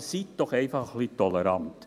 Seien Sie doch einfach ein wenig tolerant!